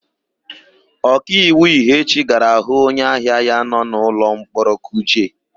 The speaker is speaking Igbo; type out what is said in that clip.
Ọkaiwu Ihechi gara hụ onyeahịa ya nọ n'ụlọmkpọrọ Kuje.